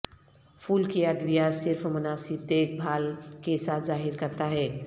پھول کی ادویات صرف مناسب دیکھ بھال کے ساتھ ظاہر کرتا ہے